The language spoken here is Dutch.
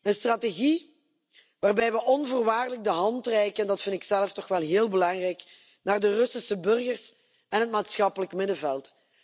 Een strategie waarbij we onvoorwaardelijk de hand reiken en dat vind ik zelf toch wel heel belangrijk naar de Russische burgers en het maatschappelijk middenveld.